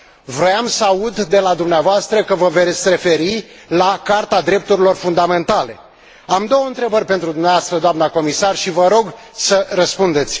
Voiam să aud de la dumneavoastră că vă veți referi la Carta drepturilor fundamentale Am două întrebări pentru dumneavoastră, doamnă comisar, și vă rog să răspundeți.